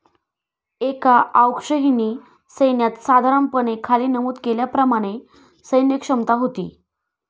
एका औक्षहिणी सैन्यात साधारणपणे खाली नमूद केल्याप्रमाणे सैन्यक्षमता होती.